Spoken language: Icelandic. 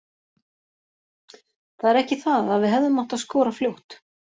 Það er ekki það að við hefðum átt að skora fljótt.